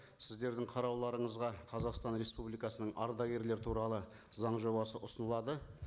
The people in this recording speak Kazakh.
сіздердің қарауларыңызға қазақстан республикасының ардагерлер туралы заң жобасы ұсынылады